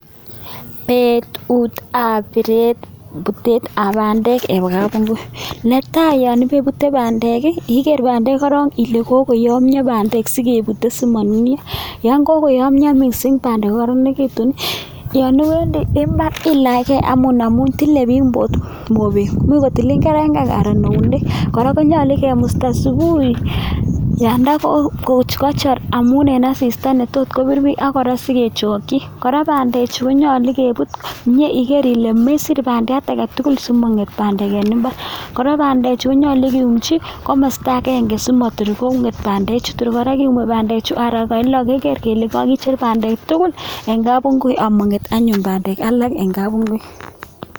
Betuteb piret, putetab bandek eng kapungui, ne tai, yon peputei bandek igeer bandek korok ile kokoyomio bandek sikeputie simanunio, yon kakoyomio mising bandek kokararanikitun, yom iwendi imbaar ilachkei anyun amun tilei biik mobek much kotilin kerengen anan eunek. Kora, konyolu kemusta subuhi yanda kachor amun eng asista netot kopiir biik ak kora sikechokchi, kora bandechu konyolu kepuut, mye igeer ile mesiir bandiat age tugul simangeet bandek eng imbaar, kora bandechu konyolu kiumchi komasta agenge simator konget bandechu, tor kora kemwei bandechu araek loo keger kele kakicher bandek tugul eng kapungui amangeet anyun bandek alak eng kapungui.